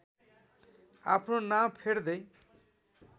आफ्नो नाम फेर्दै